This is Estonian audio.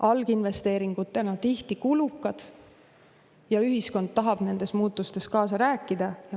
Alginvesteeringutena on need tihti kulukad ja ühiskond tahab nendes muutustes kaasa rääkida.